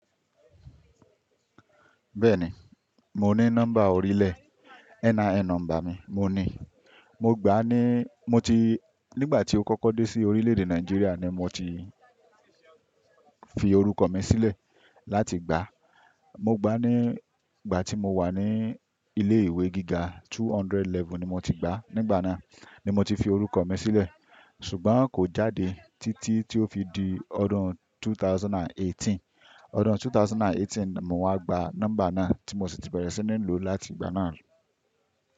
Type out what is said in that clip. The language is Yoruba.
Bẹ́ẹ̀ni, mo ní nọ́mbà orílẹ̀, NIN nọ́mbà mi mo ní. Mo gbà á ní, mo ti, nígbà tí ó kọ́kọ́ dé sí orílẹ̀-èdè Nàìjíríà ni mo ti fi orúkọ mi sílẹ̀ láti gbà á. Mo gbà á ní ìgbà tí mo wà ní ilé ìwé gíga, 200 level ni mo ti gbà á, nígbà náà ni mo ti fi orúkọ mi sílẹ̀. Ṣùgbọ́n kò jáde títí tí ó fi di ọdún 2018. Ọdún 2018 mo wá gba nọ́mbà náà tí mo sì ti bẹ̀rẹ̀ sí ní lò láti ìgbà náà lọ.